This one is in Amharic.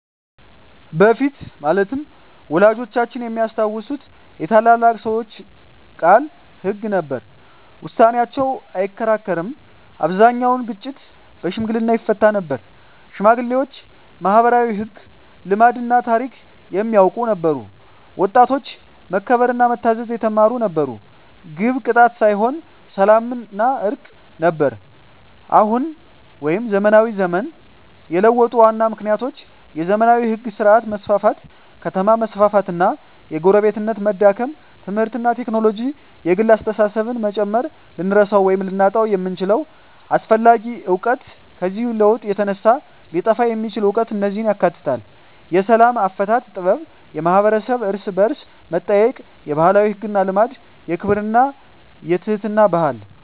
በፊት (ወላጆቻችን የሚያስታውሱት) የታላላቅ ሰዎች ቃል ሕግ ነበር፤ ውሳኔያቸው አይከራከርም አብዛኛውን ግጭት በሽምግልና ይፈታ ነበር ሽማግሌዎች ማኅበራዊ ሕግ፣ ልማድና ታሪክ የሚያውቁ ነበሩ ወጣቶች መከበርና መታዘዝ የተማሩ ነበሩ ግብ ቅጣት ሳይሆን ሰላምና እርቅ ነበር አሁን (ዘመናዊ ዘመን) የለውጡ ዋና ምክንያቶች የዘመናዊ ሕግ ሥርዓት መስፋፋት ከተማ መስፋፋት እና የጎረቤትነት መዳከም ትምህርትና ቴክኖሎጂ የግል አስተሳሰብን መጨመር ልንረሳው ወይም ልናጣው የምንችለው አስፈላጊ እውቀት ከዚህ ለውጥ የተነሳ ሊጠፋ የሚችል እውቀት እነዚህን ያካትታል፦ የሰላም አፈታት ጥበብ የማኅበረሰብ እርስ–በርስ መጠያየቅ የባህላዊ ሕግና ልማድ የክብርና የትሕትና ባህል